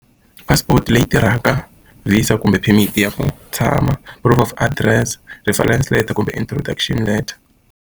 Passport leyi tirhaka, visa kumbe permit-i ya ku tshama, proof of address, referense letter kumbe introdution letter.